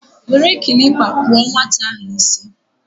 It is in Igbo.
were kilipa kpuo nwata ahu isi